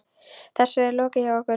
Þessu er lokið hjá okkur.